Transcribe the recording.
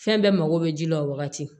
Fɛn bɛɛ mako bɛ ji la o wagati